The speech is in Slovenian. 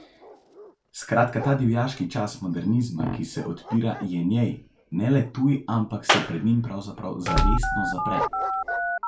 Skratka ta divjaški čas modernizma, ki se odpira, je njej ne le tuj, ampak se pred njim pravzaprav zavestno zapre.